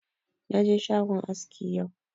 Na je shagon aski yau